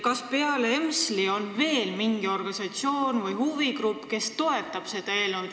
Kas peale EMSL-i on veel mingi organisatsioon või huvigrupp, kes seda eelnõu toetab?